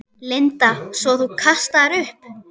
Linda: Svo þú kastaðir upp?